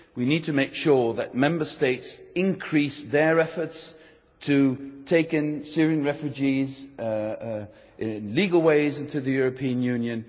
We need to make sure that Member States increase their efforts to take in Syrian refugees via legal ways into the European Union.